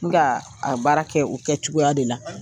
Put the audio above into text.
a baara kɛ o kɛ cogoya de la.